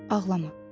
Ağlama.